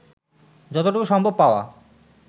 যতটুকু সম্ভব পাওয়া